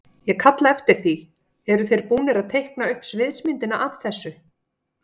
Ég kalla eftir því, eru þeir búnir að teikna upp sviðsmyndina af þessu?